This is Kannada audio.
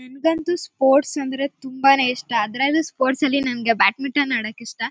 ನನಗಂತೂ ಸ್ಪೋರ್ಟ್ಸ್ ಅಂದ್ರೆ ತುಂಬಾನೇ ಇಷ್ಟ. ಅದ್ರಲ್ಲೂ ಸ್ಪೋರ್ಟ್ಸ್ ಅಲ್ಲಿ ನನಗೆ ಬ್ಯಾಟ್ ಮಿಟನ್ ಆಡಕ್ ಇಷ್ಟ.